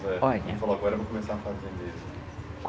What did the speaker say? Olha, falou agora eu vou começar a fazer mesmo''